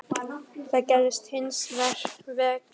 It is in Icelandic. Það gerðist hins vegar ekki.